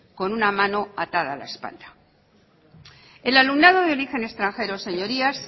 con una mano atada a la espalda el alumnado de origen extranjero señorías